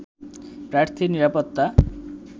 প্রার্থীর নিরাপত্তা